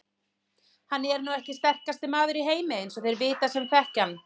Hann er nú ekki sterkasti maður í heimi eins og þeir vita sem þekkja hann.